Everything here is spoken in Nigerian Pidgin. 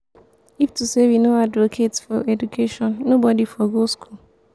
if to say we no advocate for education nobody for go school.